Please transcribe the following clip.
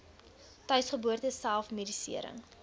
tuisgeboorte self medisering